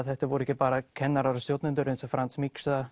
þetta voru ekki bara kennarar og stjórnendur eins og Franz mixa